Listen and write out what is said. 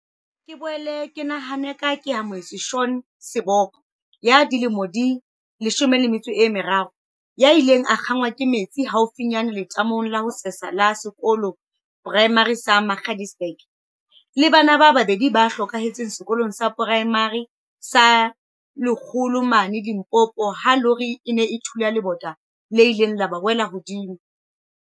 Ke boele ke nahane ka Keamohe tswe Shaun Seboko, ya dilemo tse 13, ya ileng a kgaqwa ke metsi haufinyane letamong la ho sesa la sekolo poraemare sa Magaliesburg, le bana ba babedi ba hlokahaletseng Sekolong sa Poraemare sa Lekgolo mane Limpopo ha lori e ne e thula le bota le ileng la ba wela hodimo.